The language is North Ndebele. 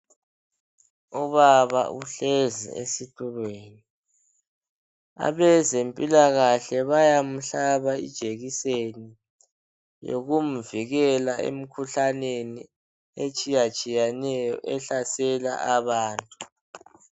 Ubaba uhlezi esitulweni. Abezempilakahle bayamhlaba ijekiseni eyokumvikela emkhuhlaneni etshiyatshiyeneyo ehlasela abantu.